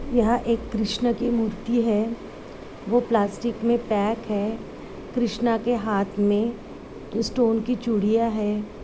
यह एक कृष्ण की मूर्ति है। वो प्लास्टिक में पैक है। कृष्णा के हाथ में स्टोन की चूड़ियाँ है।